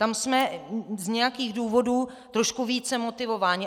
Tam jsme z nějakých důvodů trošku více motivováni.